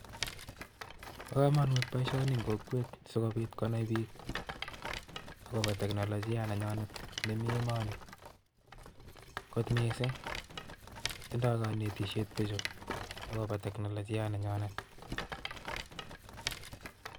Bo komonut boishoni en kokwenyun sikobiit konai biik, akobo teknolojia nenyonet nemi emonii, kararan kot missing ak tindo konetisiet bichu akobo teknolojia nenyinet